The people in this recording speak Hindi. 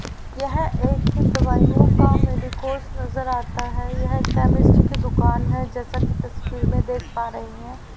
यह एक दवाईयों का मेडिकोस नजर आता हैं यह केमिस्ट की दुकान है जैसा कि तस्वीर में देख पा रही है।